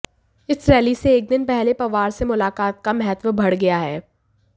इस रैली से एक दिन पहले पवार से मुलाकात का महत्व बढ़ गया है